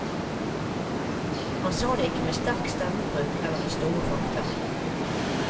Han sa det ikke med sterk stemmebruk, eller med store fakter.